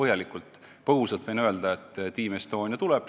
Lühidalt võin öelda, et Team Estonia tuleb.